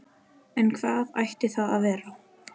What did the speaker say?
En hvað ætti það að vera?